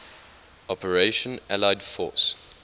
operation allied force